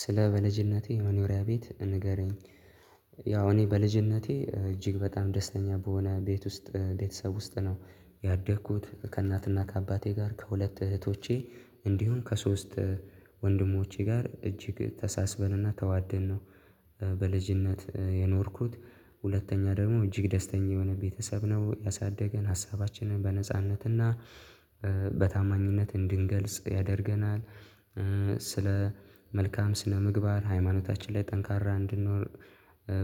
ስለ በልጅነቴ መኖሪያ ቤት ንገረኝ? ያው እኔ በልጅነቴ እጅግ በጣም ደስተኛ በሆነ ቤት ውስጥ ቤተሰብ ውስጥ ነው ያደግኩት ከእናትና ከአባቴ ጋር ከሁለት እህቶቼ እንዲሁም ከሶስት ወንድሞቼ ጋር እጅግ ተሳስበንና ተዋደን ነው። በልጅነት የኖርኩት። ሁለተኛ ደግሞ እጅግ ደስተኛ የሆነ ቤተሰብ ነው ያሳደገን ሀሳባችንን በነጻነትና በታማኝነት እንድንገልጽ ያደርገናል። ስለ መልካም ስነ ምግባር ሃይማኖታችን ላይ ጠንካራ እንድንኖር